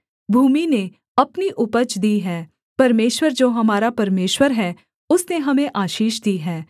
भूमि ने अपनी उपज दी है परमेश्वर जो हमारा परमेश्वर है उसने हमें आशीष दी है